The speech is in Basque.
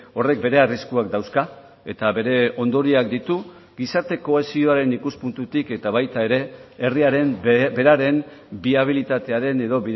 horrek bere arriskuak dauzka eta bere ondorioak ditu gizarte kohesioaren ikuspuntutik eta baita ere herriaren beraren biabilitatearen edo